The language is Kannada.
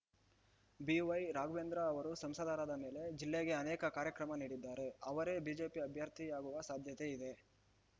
ಬಿವೈರಾಘವೇಂದ್ರ ಅವರು ಸಂಸದರಾದ ಮೇಲೆ ಜಿಲ್ಲೆಗೆ ಅನೇಕ ಕಾರ್ಯಕ್ರಮ ನೀಡಿದ್ದಾರೆ ಅವರೇ ಬಿಜೆಪಿ ಅಭ್ಯರ್ಥಿಯಾಗುವ ಸಾಧ್ಯತೆ ಇದೆ